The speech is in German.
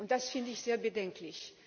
Und das finde ich sehr bedenklich.